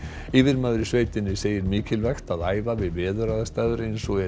yfirmaður í sveitinni segir mikilvægt að æfa við veðuraðstæður eins og eru